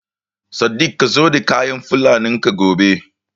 Sadik ka zo da kayan Fulanin ka gobe!